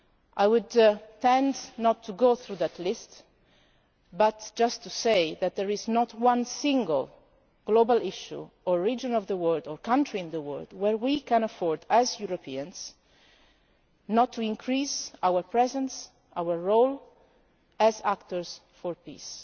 and regions. I would tend not to go through that list but just say that there is not one single global issue or region of the world, or country in the world, where we can afford as Europeans not to increase our presence, our role as